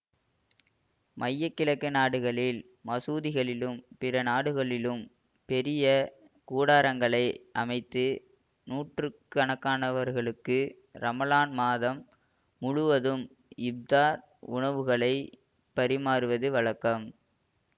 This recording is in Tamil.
மையக்கிழக்கு நாடுகளில் மசூதிகளிலும் பிற நாடுகளிலும் பெரிய கூடாரங்களை அமைத்து நூற்று கணக்கானவர்களுக்கு ரமலான் மாதம் முழுவதும் இப்தார் உணவுகளைப் பரிமாறுவது வழக்கம்